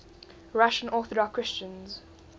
russian orthodox christians